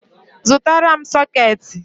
zụtara m sooketi